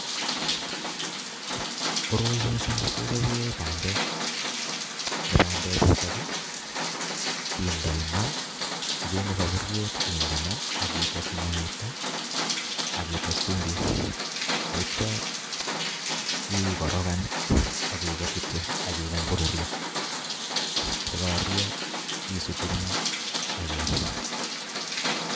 Koroi missing kechobe bandek, bandechutok kindoi maa ichenge safuriet inde maa ak ites mwaita ak ites chumbik taityo ikorokan ak iger kityo ak ikany korurio, takakorurio isutu eng maa ak iam.